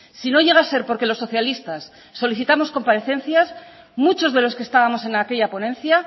si no llega a ser porque los socialistas solicitamos comparecencias muchos de los que estábamos en aquella ponencia